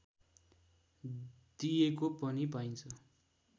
दिएको पनि पाइन्छ